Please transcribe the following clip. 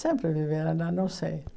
Sempre viveram lá, não sei.